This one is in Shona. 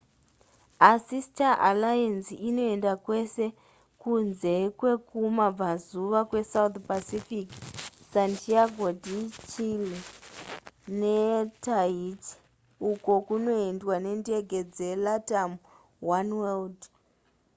asi star alliance inoenda kwese kunze kwekumabvazuva kwesouth pacific santiago de chile netahiti uko kunoendwa nendege dzelatam oneworld